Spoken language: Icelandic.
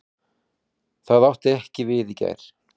Það átti ekki við í gær.